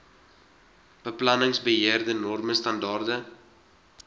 beplanningsbeheer norme standaarde